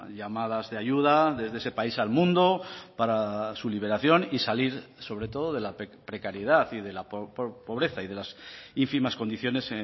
llamadas de ayuda desde ese país al mundo para su liberación y salir sobre todo de la precariedad y de la pobreza y de las ínfimas condiciones